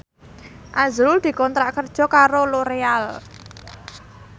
azrul dikontrak kerja karo Loreal